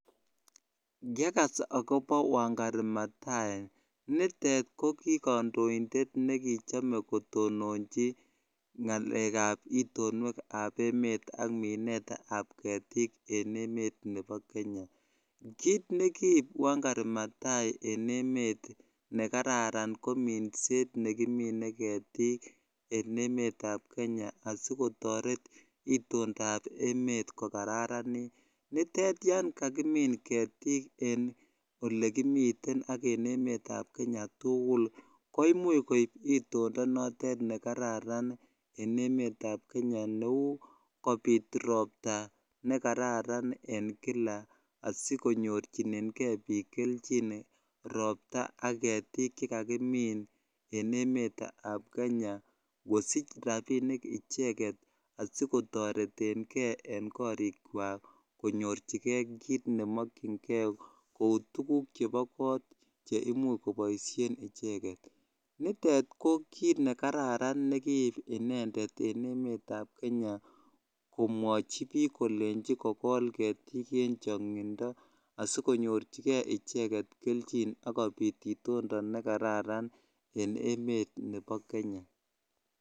Yekas ak kopa wangari mathai inendeet kokichamee eng tononeet ap ketik enfnemet ap kenya asikotareet itondap emet kokararin ak komuch kopit roptaa asikonyorchigeii piik rapisheeek cheimuchii kopaisheen eng koot ako kikenjii oiik eng kenya kokol ketik